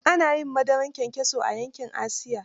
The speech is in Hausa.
Ana yin madarar kyankyaso a yankin Asiya.